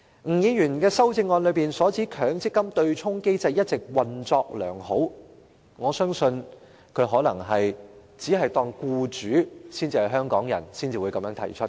吳議員的修正案指強積金對沖機制一直"運作良好"，我相信他可能只把僱主視作香港人，才有這種說法。